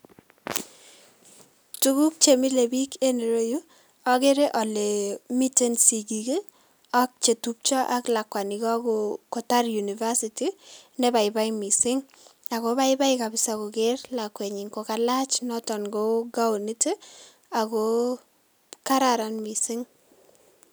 Tuguk chemile bik enn iroyu akere ale miten sigik ii ak chetupcho ak lakwani kakotar university ii nebaibai mising ako baibai kabisa koker lakwenyin kokalach noton ko kaonit ii ako kararan mising.